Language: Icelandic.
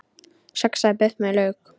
Saxað buff með lauk